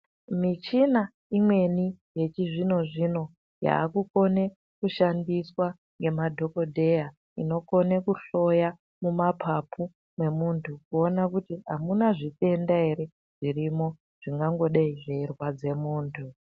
Michina imweni yechizvino-zvino yaakukone kushandiswa ngemadhogodheya inokone kuhloye mumapapu emuntu kuone kuti hamuna zvitenda here zvingangodeyi zveirwadze muntu.